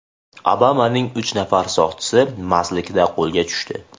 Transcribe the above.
Obamaning uch nafar soqchisi mastlikda qo‘lga tushdi.